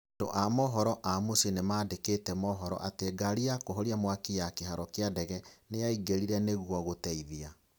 Andũ a mohoro a mũciĩ nĩmandĩkĩte mohoro atĩ ngari ya kũhoria mwaki ya kĩharo kĩa ndege nĩyaingĩrire nĩguo gũteithia